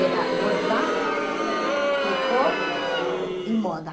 Era bordado, tricote e moda.